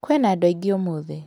Kwĩna andũ aingĩ ũmũthĩ.